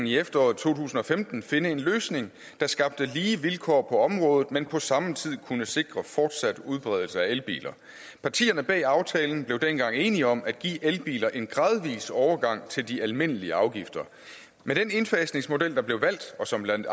i efteråret to tusind og femten finde en løsning der skabte lige vilkår på området men på samme tid kunne sikre fortsat udbredelse af elbiler partierne bag aftalen blev dengang enige om at give elbiler en gradvis overgang til de almindelige afgifter med den indfasningsmodel der blev valgt og som blandt